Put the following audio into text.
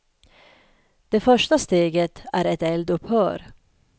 Det första steget är ett eldupphör.